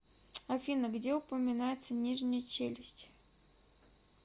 афина где упоминается нижняя челюсть